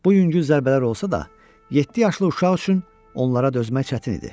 Bu yüngül zərbələr olsa da, yeddi yaşlı uşaq üçün onlara dözmək çətin idi.